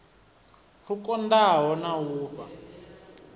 lwu kondaho na u fha